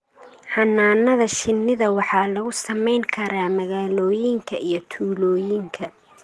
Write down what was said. Xannaanada shinnida waxaa lagu samayn karaa magaalooyinka iyo tuulooyinka.